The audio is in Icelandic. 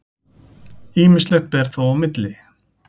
Ýmislegt ber þó á milli.